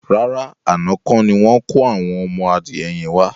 Rárá, àná kọ́ni wọn kò àwọn ọmọ adìyẹ yẹn wá.